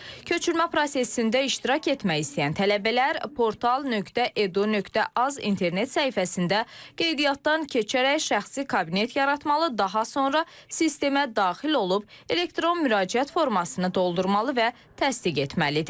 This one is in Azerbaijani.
Köçürmə prosesində iştirak etmək istəyən tələbələr portal.edu.az internet səhifəsində qeydiyyatdan keçərək şəxsi kabinet yaratmalı, daha sonra sistemə daxil olub elektron müraciət formasını doldurmalı və təsdiq etməlidir.